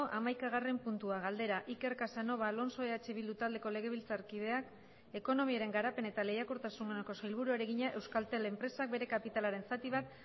hamaikagarren puntua galdera iker casanova alonso eh bildu taldeko legebiltzarkideak ekonomiaren garapen eta lehiakortasuneko sailburuari egina euskaltel enpresak bere kapitalaren zati bat